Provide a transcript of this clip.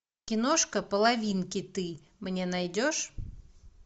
киношка половинки ты мне найдешь